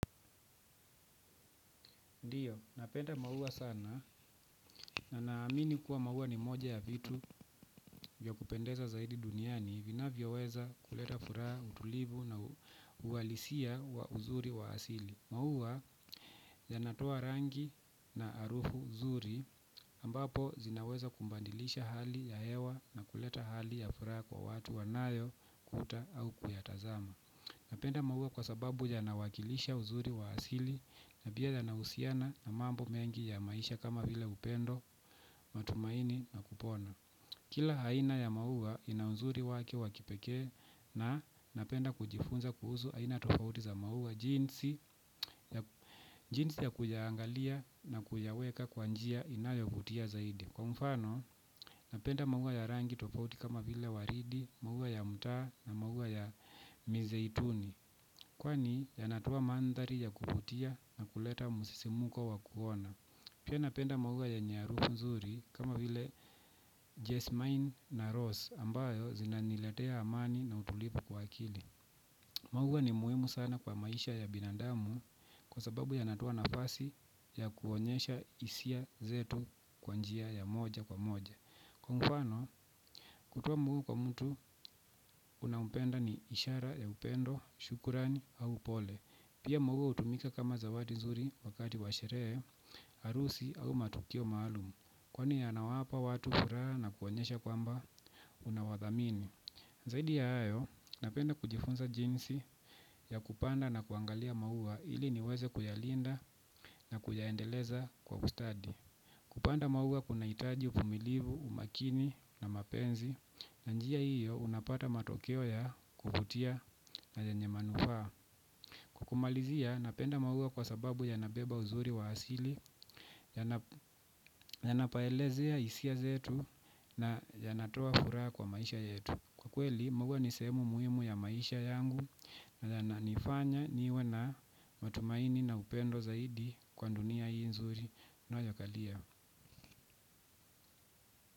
Ndiyo, napenda maua sana na naamini kuwa maua ni moja ya vitu vya kupendeza zaidi duniani vinavyo weza kuleta furaha, utulivu na uwalisia wa uzuri wa asili. Maua yanatoa rangi na arufu zuri ambapo zinaweza kubandilisha hali ya hewa na kuleta hali ya furaha kwa watu wanayo kuta au kuyatazama. Napenda maua kwa sababu yanawakilisha uzuri wa asili na pia yanahusiana na mambo mengi ya maisha kama vile upendo, matumaini na kupona. Kila haina ya maua ina uzuri wake wa kipekee na napenda kujifunza kuhuzu aina tofauti za maua jinsi ya kuyaangalia na kuyaweka kwa njia inayovutia zaidi. Kwa mfano napenda maua ya rangi tofauti kama vile waridi, maua ya mtaa na maua ya mizeituni. Kwani yanatoa mandhari ya kuvutia na kuleta musisimuko wa kuona. Pia napenda maua yenye harufu mzuri kama vile jasmine na rose ambayo zina niletea amani na utulivu kwa akili. Maua ni muhimu sana kwa maisha ya binadamu kwa sababu yanatoa nafasi ya kuonyesha hisia zetu kwa njia ya moja kwa moja. Kwa mfano kutoa maua kwa mtu unampenda ni ishara ya upendo, shukurani au pole. Pia maua utumika kama zawadi nzuri wakati wa sherehe, arusi au matukio maalumu. Kwani yanawapa watu furaha na kuwonyesha kwamba unawathamini. Zaidi ya hayo, napenda kujifunza jinsi ya kupanda na kuangalia maua ili niweze kuyalinda na kuyaendeleza kwa kustadi. Kupanda maua kuna itaji uvumilivu, umakini na mapenzi. Na njia hiyo unapata matokeo ya kuvutia na yenye manufaa. Kwa kumalizia napenda maua kwa sababu yanabeba uzuri wa asili yanapaelezea isia zetu na yanatoa furaha kwa maisha yetu. Kwa kweli maua ni sehemu muhimu ya maisha yangu. Na yananifanya niwe na matumaini na upendo zaidi kwa ndunia hii nzuri nayo yakalia.